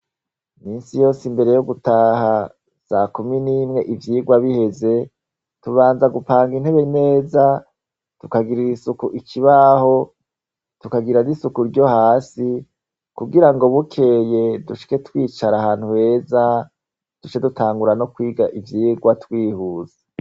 Misi yose imbere yo gutaha sakumi n'imwe ivyirwa biheze, tubanza gupanga intebe neza, tukagirira isuku ikibaho tukagira n’isuku ryo hasi kugira ngo bukeye dushike twicara ahantu heza, dushe dutangura no kwiga ivyirwa twihuse.